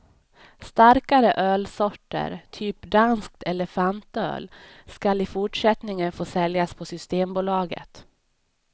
Starkare ölsorter, typ danskt elefantöl, skall i fortsättningen få säljas på systembolaget.